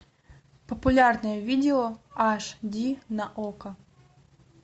популярные видео аш ди на окко